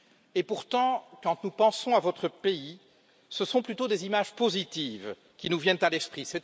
Et pourtant, quand nous pensons à votre pays, ce sont plutôt des images positives qui nous viennent à l'esprit.